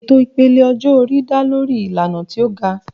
Ètò ìpele ọjọ́-orí dá lórí ìlànà tí ó ga.